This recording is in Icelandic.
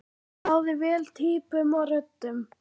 Náði vel týpum og röddum.